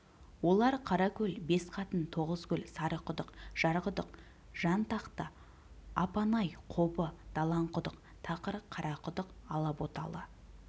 олар қаракөл бесқатын тоғызкөл сарықұдық жарқұдық жантақты апанай қобы далаңқұдық тақыр қарақұдық алаботалы